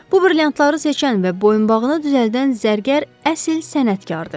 Bu brilliantları seçən və boyunbağını düzəldən zərgər əsl sənətkardır.